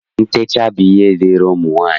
Ntecha bụ ihe dịịrị ụmụ nwaanyị